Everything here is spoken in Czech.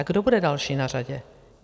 A kdo bude další na řadě?